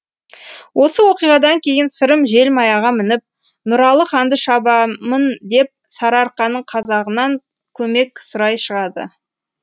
осы оқиғадан кейін сырым желмаяға мініп нұралы ханды шабамын деп сарыарқаның қазағынан көмек сұрай шығады